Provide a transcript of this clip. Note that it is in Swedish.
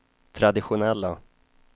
traditionella